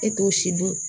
E t'o si dun